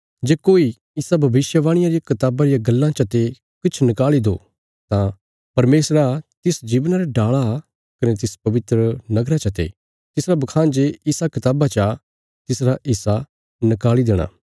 जे कोई इसा भविष्यवाणिया री कताबा रिया गल्लां चते किछ निकाल़ी दो तां परमेशरा तिस जीवना रे डाला कने तिस पवित्र नगरा चते तिसारा बखान जे इसा कताबा चा तिसरा हिस्सा निकाल़ी देंगा